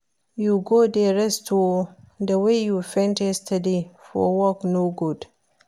You go dey rest oo, the way you faint yesterday for work no good